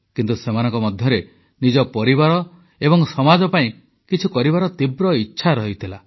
କିନ୍ତୁ ସେମାନଙ୍କ ମଧ୍ୟରେ ନିଜ ପରିବାର ଏବଂ ସମାଜ ପାଇଁ କିଛି କରିବାର ତୀବ୍ର ଇଚ୍ଛା ଥିଲା